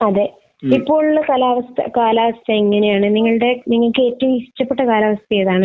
അതെ. ഇപ്പോൾ ഉള്ള കാലാവസ്ഥ കാലാവസ്ഥ എങ്ങനെയാണ്? നിങ്ങളുടെ നിങ്ങൾക്ക് ഏറ്റവും ഇഷ്ടപ്പെട്ട കാലാവസ്ഥ ഏതാണ്?